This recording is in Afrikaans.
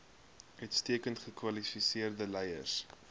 uitstekend gekwalifiseerde leiers